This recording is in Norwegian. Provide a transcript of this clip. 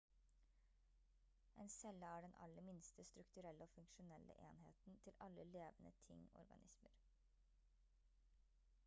en celle er den aller minste strukturelle og funksjonelle enheten til alle levende ting organismer